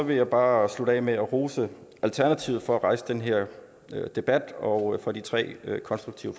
vil jeg bare slutte af med at rose alternativet for at rejse den her debat og for de tre konstruktive